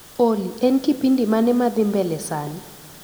Olly, en kipindi mane madhii mbele sani?